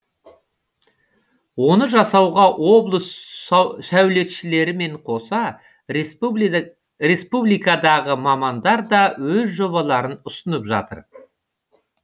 оны жасауға облыс саулетшілерімен қоса республикадағы мамандар да өз жобаларын ұсынып жатыр